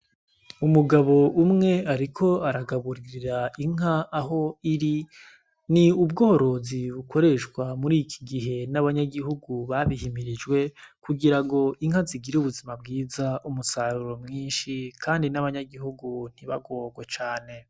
Umugabo umwe, ariko aragaburiira inka aho iri ni ubworozi bukoreshwa muri iki gihe n'abanyagihugu babihimirijwe kugira ngo inka zigire ubuzima bwiza umusaruro mwinshi, kandi n'abanyagihugu ntibagorwe cane.